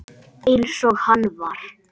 Eins og hann var.